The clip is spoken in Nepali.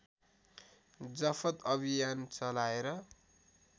जफत अभियान चलाएर